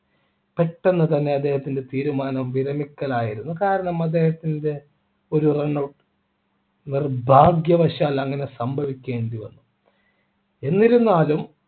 പെട്ടെന്ന് തന്നെ അദ്ദേഹത്തിൻ്റെ തീരുമാനം വിരമിക്കൽ ആയിരുന്നു കാരണം അദ്ദേഹത്തിൻ്റെ ഒരു run out നിർഭാഗ്യവശാൽ അങ്ങനെ സംഭവിക്കേണ്ടി വന്നു എന്നിരുന്നാലും